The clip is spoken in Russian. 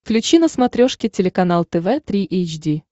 включи на смотрешке телеканал тв три эйч ди